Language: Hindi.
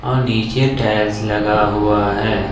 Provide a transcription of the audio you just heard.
और नीचे टाइल्स लगा हुआ है।